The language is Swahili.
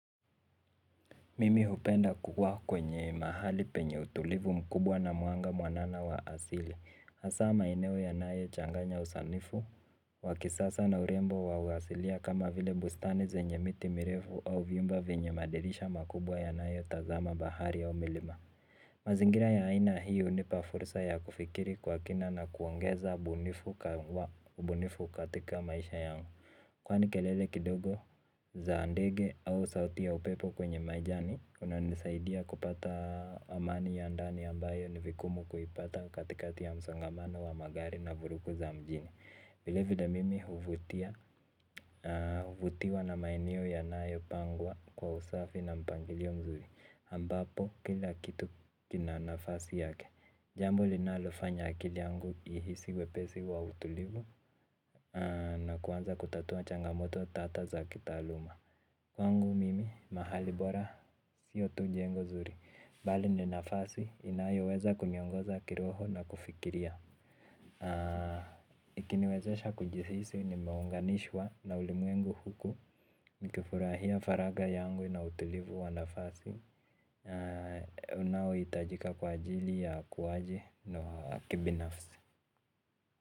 Mimi hupenda kuwa kwenye mahali penye utulivu mkubwa na mwanga mwanana wa asili hasa maeneo yanayo changanya usanifu wakisasa na urembo wa asilia kama vile bustani zenye miti mirefu au vyumba vinyo madirisha makubwa yanayo tazama bahari au milima. Mazingira ya aina hii unipa fursa ya kufikiri kwa kina na kuongeza ubunifu katika maisha yangu kwani kelele kidogo za ndege au sauti ya upepo kwenye majani kuna nisaidia kupata amani ya ndani ambayo ni vigumu kuipata katikati ya msongamana wa magari na vurugu za mjini vilevile mimi huvutiwa na maeneo yanayopangwa kwa usafi na mpangilio mzuri ambapo kila kitu kina nafasi yake. Jambo linalofanya akili yangu ihisi uwepesi wa utulivu na kuanza kutatua changamoto tata za kitaaluma. Kwangu mimi, mahali bora, siyo tu jengo zuri bali ni nafasi, inayo weza kuniongoza kiroho na kufikiria ikini wezesha kujisisi, nimeunganishwa na ulimwengu huku nikifurahia faraga yangu na utulivu wa nafasi unao itajika kwa ajili ya kuwaji na kibinafsi.